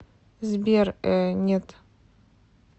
сбер э нет